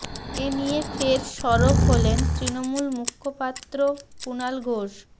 এ নিয়ে ফের সরব হলেন তৃণমূল মুখপাত্র কুণাল ঘোষ